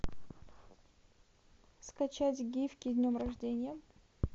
скачать гифки с днем рождения